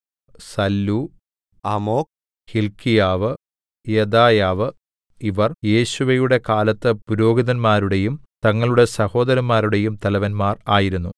സല്ലൂ Amok ഹില്ക്കീയാവ് യെദായാവ് ഇവർ യേശുവയുടെ കാലത്ത് പുരോഹിതന്മാരുടെയും തങ്ങളുടെ സഹോദരന്മാരുടെയും തലവന്മാർ ആയിരുന്നു